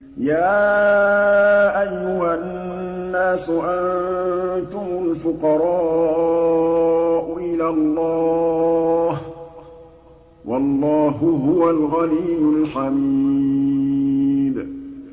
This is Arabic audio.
۞ يَا أَيُّهَا النَّاسُ أَنتُمُ الْفُقَرَاءُ إِلَى اللَّهِ ۖ وَاللَّهُ هُوَ الْغَنِيُّ الْحَمِيدُ